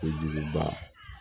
Ko juguba